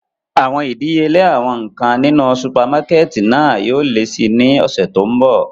Awọn idiyele awọn nkan ninu supamakẹti náa yóò le si ni ọsẹ to nbọ.